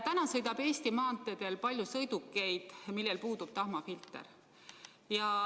Praegu sõidab Eesti maanteedel palju sõidukeid, millel puudub tahmafilter.